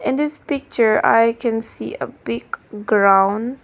in this picture i can see a big ground.